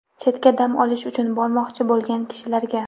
Chetga dam olish uchun bormoqchi bo‘lgan kishilarga.